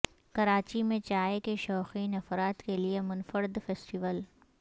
کراچی میں چائے کے شوقین افراد کے لئے منفرد فیسٹیول